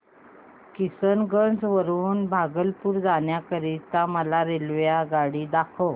किशनगंज वरून भागलपुर जाण्या करीता मला रेल्वेगाडी दाखवा